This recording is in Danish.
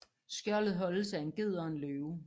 Skjoldet holdes af en ged og en løve